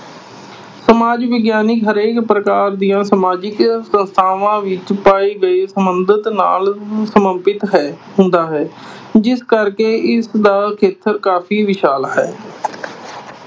ਸਮਾਜ ਵਿਗਿਆਨ ਹਰੇਕ ਪ੍ਰਕਾਰ ਦੀਆਂ ਸਮਾਜਿਕ ਸੰਸਥਾਵਾਂ ਵਿੱਚ ਪਾਏ ਗਏ ਨਾਲ ਹੈ, ਹੁੰਦਾ ਹੈ। ਜਿਸ ਕਰਕੇ ਇਸ ਦਾ ਖੇਤਰ ਕਾਫੀ ਵਿਸ਼ਾਲ ਹੈ।